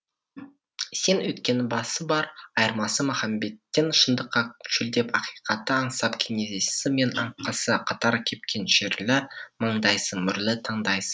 сен өйткені басы бар айырмасы махамбеттен шындыққа шөлдеп ақиқатты аңсап кенезесі мен аңқасы қатар кепкеншерлі маңдайсың мөрлі таңдайсың